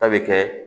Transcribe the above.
A bɛ kɛ